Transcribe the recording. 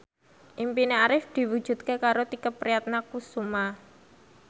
impine Arif diwujudke karo Tike Priatnakusuma